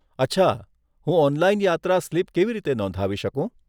અચ્છા! હું ઓનલાઈન યાત્રા સ્લીપ કેવી રીતે નોંધાવી શકું?